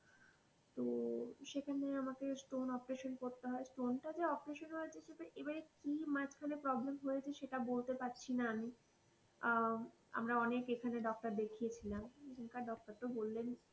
তো সেখানে আমাকে stone operation করতে হয়, stone টা যে operation হয়েছে, সেটা এবার কি মাঝখানে problem হয়েছে সেটা বলতে পারছি না আমি আহ আমরা অনেক doctor দেখিয়েছিলাম, এখান কার doctor তো বললেন।